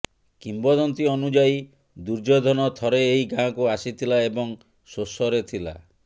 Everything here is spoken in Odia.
କିମ୍ବଦନ୍ତୀ ଅନୁଯାୟୀ ଦୁର୍ଯ୍ୟୋଧନ ଥରେ ଏହି ଗାଁକୁ ଆସିଥିଲା ଏବଂ ଶୋଷରେ ଥିଲା